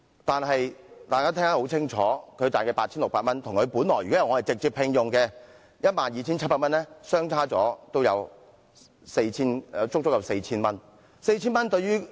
但是，她每月得到的 8,600 元與她在直接聘用制度下所賺得的 12,700 元相比，足足少了 4,000 元。